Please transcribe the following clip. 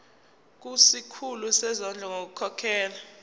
kusikhulu sezondlo ngokukhokhela